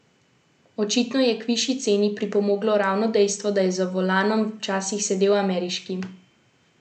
Očitno je k višji ceni pripomoglo ravno dejstvo, da je za volanom včasih sedel ameriški predsednik.